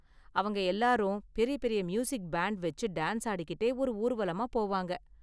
அவங்க எல்லாரும் பெரிய பெரிய மியூசிக் பேண்ட் வெச்சு டான்ஸ் ஆடிக்கிட்டே ஒரு ஊர்வலமா போவாங்க.